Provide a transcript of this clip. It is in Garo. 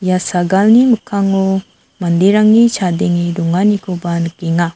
ia sagalni mikkango manderangni chadenge donganikoba nikenga.